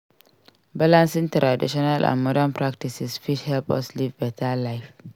Balancing traditional and modern practices fit help us live beta life.